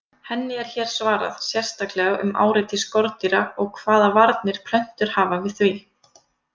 Henni er hér svarað sérstaklega um áreiti skordýra og hvaða varnir plöntur hafa við því.